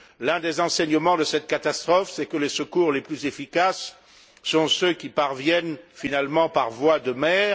L'un des enseignements de cette catastrophe c'est que les secours les plus efficaces sont ceux qui parviennent finalement par voie de mer.